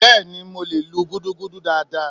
beeni, mo le lú gúdúgúdú daadaa